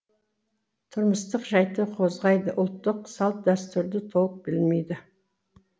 тұрмыстық жайтты қозғайды ұлттық салт дәстүрді толық білмейді